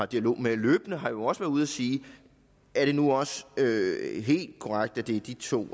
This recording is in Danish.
dialog med løbende har jo også været ude at sige er det nu også helt korrekt at det er de to